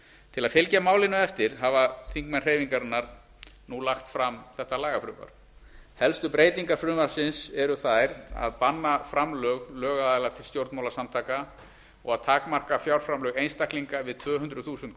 til að fylgja málinu eftir hafa þingmenn hreyfingarinnar nú lagt fram þetta lagafrumvarp helstu breytingar frumvarpsins eru þær að banna framlög lögaðila til stjórnmálasamtaka og takmarka fjárframlög einstaklinga við tvö hundruð þúsund